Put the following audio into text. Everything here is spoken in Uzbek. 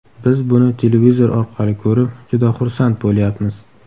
Biz buni televizor orqali ko‘rib, juda xursand bo‘lyapmiz.